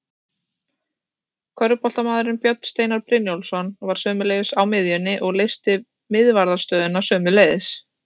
Körfuboltamaðurinn Björn Steinar Brynjólfsson var sömuleiðis á miðjunni og leysti miðvarðarstöðuna sömuleiðis.